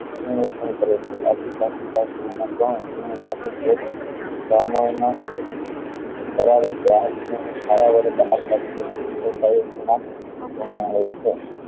સરક્ષણ કરે છે આથી કાચી કેરી ઉત્તર આવે ધારા વડે બહાર કાઢી તેને ઇસ્તેમાલ કરવા માં આવે છે